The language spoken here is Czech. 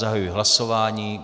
Zahajuji hlasování.